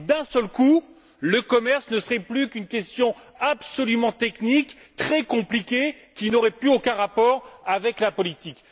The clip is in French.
Et, d'un seul coup, le commerce ne serait plus qu'une question absolument technique, très compliquée, qui n'aurait plus aucun rapport avec la politique.